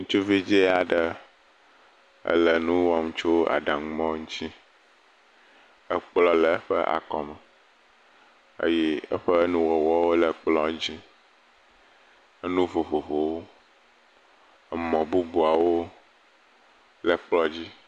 Ŋutsuvi dza aɖe ele nu wɔm tso aɖaŋumɔ ŋutsi. Ekplɔ le eƒe akɔme eye eƒe nuwɔwɔ le ekplɔ dzi. Enu vovovowo. Emɔ bubuawo le kplɔ dzi.